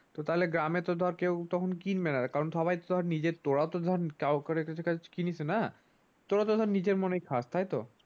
তো তাহলে গ্রামে তো ধর কেও তখন কিনবেনা কারণ সবাই তো ধর নিজের তোরাও তো ধর কাওরের কাছে কিনিসনা তোরা তো ধর নিজের মনে খাস তাইতো ।